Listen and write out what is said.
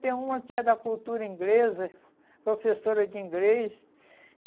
Tem uma que é da cultura inglesa, professora de inglês. E